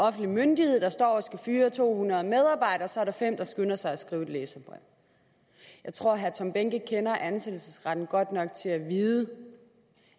offentlig myndighed der står og skal fyre to hundrede medarbejdere og så er der fem der skynder sig at skrive et læserbrev jeg tror at herre tom behnke kender ansættelsesretten godt nok til at vide